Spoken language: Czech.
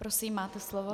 Prosím, máte slovo.